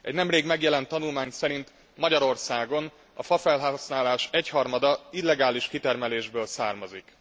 Egy nemrég megjelent tanulmány szerint Magyarországon a fafelhasználás egyharmada illegális kitermelésből származik.